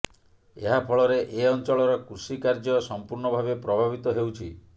ଏହା ଫଳରେ ଏ ଅଞ୍ଚଳର କୃଷିକାର୍ଯ୍ୟ ସଂପୂର୍ଣ୍ଣ ଭାବେ ପ୍ରଭାବିତ ହେଉଛି